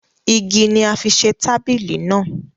Igi ni a fi ṣe tabili naa